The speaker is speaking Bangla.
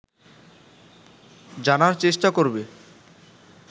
জানার চেষ্টা করবে